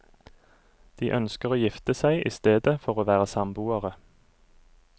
De ønsker å gifte seg i stedet for å være samboere.